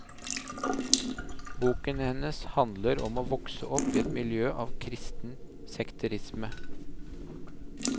Boken hennes handler om å vokse opp i et miljø av kristen sekterisme.